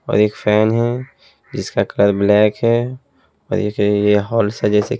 और एक फैन है जिसका कलर ब्लैक है और एक ये हॉल से जैसे--